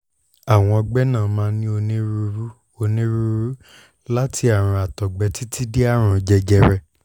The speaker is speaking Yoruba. àwọn ọgbẹ́ náà máa ń ní onírúurú onírúurú láti àrùn àtọ̀gbẹ títí dé àrùn jẹjẹrẹ